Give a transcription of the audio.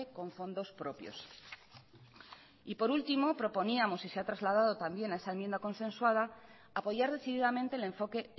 con fondos propios y por último proponíamos y se ha trasladado también a esa enmienda consensuada apoyar decididamente el enfoque